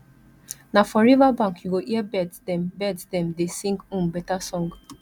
na for riverbank you go hear birds dem birds dem dey sing um better song